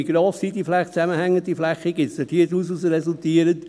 Wie gross sind die zusammenhängenden Flächen, die daraus resultieren?